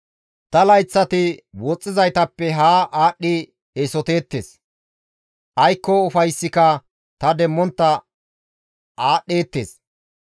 «Ta layththati woxxizaytappe haa aadhdhi eesoteettes; aykko ufayssika ta demmontta aadhdheettes.